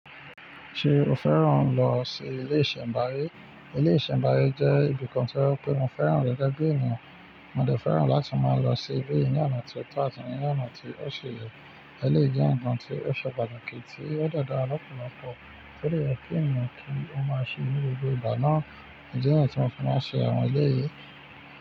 Ṣé o fẹ́ràn lọ sí ilé ìṣẹ̀mbáyé? Ilé ìṣẹ̀mbáyé jẹ́ ibìkan tí ọ pé mo fẹ́ràn rẹ̀ gẹ́gẹ́ bí ènìyàn. Mo dà fẹ́ràn láti máa lọ sí ibí yìí ní ọ̀nà tí ó tà àti ní ọ̀nà tí ó ṣe yẹ. Ẹ̀ léyìí jẹ́ nkàn tí ó ṣe pàtàkì tí ó de dàrà lọ́pọ̀lọ́pọ̀. Kí lè yẹ pé ènìyàn kí ó máa ṣe ní gbogbo ìgbà náà. Ǹjẹ́ ọ̀nà tí wọn fi máa ń ṣe àwọn ilé yìí?